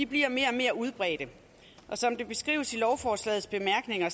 bliver mere og mere udbredte og som det beskrives i lovforslagets bemærkninger